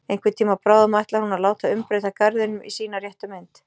Einhvern tíma bráðum ætlar hún að láta umbreyta garðinum í sína réttu mynd.